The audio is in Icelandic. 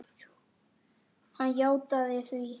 Hann játaði því.